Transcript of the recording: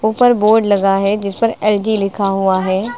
ऊपर बोर्ड लगा है जिस पर एल_जी लिखा हुआ है।